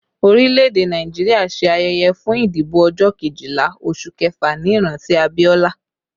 Orílẹ̀ èdè Nàìjíríà ṣe ayẹyẹ fún ìdìbò ọjọ́ Kejìlá oṣù kẹfà ní ìrántí Abiola